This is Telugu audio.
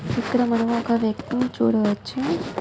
ఇక్కడ మనం ఒక వ్యక్తిని చూడవచ్చు.